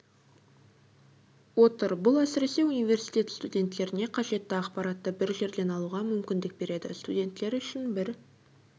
отыр бұл әсіресе университет студенттеріне қажетті ақпаратты бір жерден алуға мүмкіндік береді студенттер үшін бір